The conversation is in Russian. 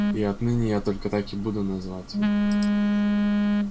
и отныне я только так и буду называть его